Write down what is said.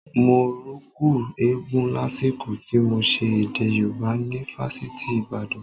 Mo rùkú eégún lásìkò tí mo ṣe èdè Yorùbá ni fásitì Ìbàdàn